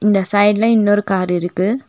இந்த சைடுல இன்னொரு கார் இருக்கு.